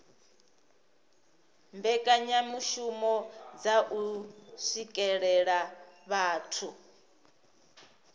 mbekanyamishumo dza u swikelela vhathu